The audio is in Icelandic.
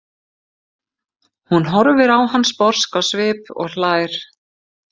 Hún horfir á hann sposk á svip og hlær.